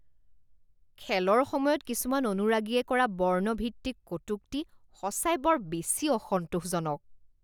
খেলৰ সময়ত কিছুমান অনুৰাগীয়ে কৰা বৰ্ণ ভিত্তিক কটুক্তি সঁচাই বৰ বেছি অসন্তোষজনক